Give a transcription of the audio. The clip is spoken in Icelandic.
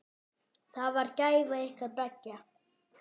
Það var gæfa ykkar beggja.